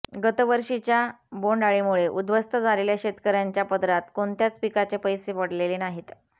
गतवर्षीच्या बोंडअळीमुळे उद्धवस्त झालेल्या शेतकऱ्यांच्या पदरात कोणत्याच पिकाचे पैसे पडलेले नाहीत